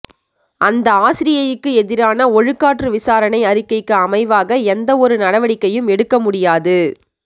அந்த ஆசிரியைக்கு எதிரான ஒழுக்காற்று விசாரணை அறிக்கைக்கு அமைவாக எந்தவொரு நடவடிக்கையும் எடுக்க முடியாது